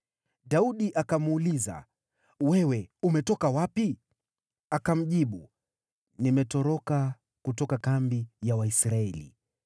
Daudi akamuuliza, “Wewe umetoka wapi?” Akamjibu, “Nimetoroka kutoka kambi ya Waisraeli.”